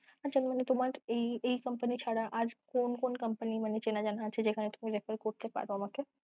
তোমার এই কোম্পানি ছাড়া কোন কোম্পানি মানে চেনা জানা আছে যেখানে তুমি recruit করতে পারো আমাকে?